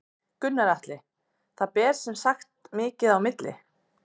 Gunnar Atli: Það ber sem sagt mikið á milli?